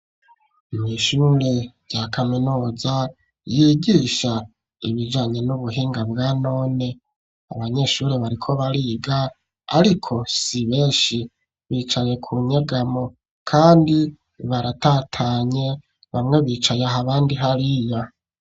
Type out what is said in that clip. Mw'ishumwe rya kaminuza yigisha ibijanye n'ubuhinga bwanone abanyeshure bariko bariga ariko si benshi bicaye ku nyegamo kandi baratatanye bamwe bicaye aha abandi hariya.